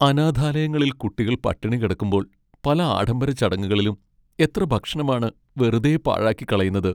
അനാഥാലയങ്ങളിൽ കുട്ടികൾ പട്ടിണി കിടക്കുമ്പോൾ പല ആഡംബര ചടങ്ങുകളിലും എത്ര ഭക്ഷണമാണ് വെറുതെ പാഴാക്കിക്കളയുന്നത്!